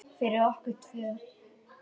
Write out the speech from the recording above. Fyrir okkur tvö.